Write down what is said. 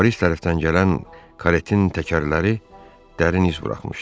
Foris tərəfdən gələn karetin təkərləri dərin iz buraxmışdı.